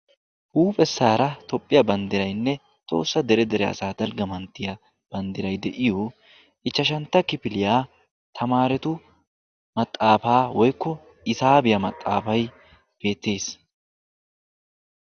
huuphessaara toophphiyaa banddiraynne tohossa dere dere asaa dalgga manttiya banddiray de7iyo ichchashantta kifiliyaa tamaaretu maxaafaa woykko hisaabiyaa maxaafay beettes.